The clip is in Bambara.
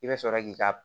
I bɛ sɔrɔ k'i ka